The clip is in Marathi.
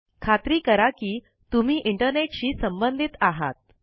खात्री करा कि तुम्ही इंटरनेट शी संबंधित आहात